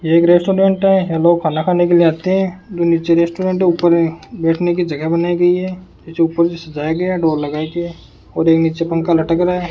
ये एक रेस्टोरेंट है यहां लोग खाना खाने के लिए आते हैं जो नीचे रेस्टोरेंट है ऊपर बैठने की जगह बनाई गई है इसे ऊपर से सजाया गया है डोर लगाई गई है और ये नीचे पंखा लटक रहा है।